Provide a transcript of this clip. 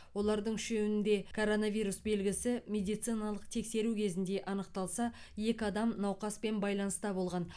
олардың үшеуінде коронавирус белгісі медициналық тексеру кезінде анықталса екі адам науқаспен байланыста болған